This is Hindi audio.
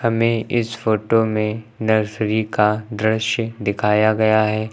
में इस फोटो में नर्सरी का दृश्य दिखाया गया है।